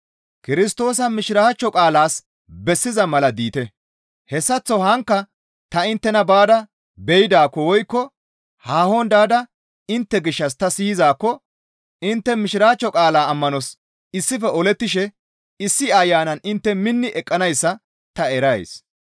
Kirstoosa Mishiraachcho qaalaas bessiza mala diite; hessaththo haankka ta inttena baada be7idaakko woykko haahon daada intte gishshas ta siyizaakko intte Mishiraachcho qaalaa ammanos issife olettishe issi Ayanan intte minni eqqanayssa ta erays.